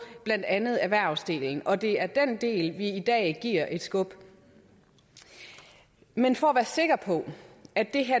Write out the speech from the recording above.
blandt andet erhvervsdelen og det er den del vi i dag giver et skub men for at være sikker på at